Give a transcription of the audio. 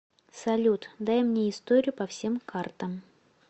салют дай мне историю по всем картам